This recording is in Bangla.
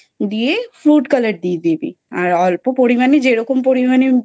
দিয়ে food colour আর অল্প পরিমানে যেরকম পরিমানে